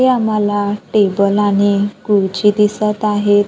इथे आम्हाला टेबल आणि खुडची दिसतं आहेत.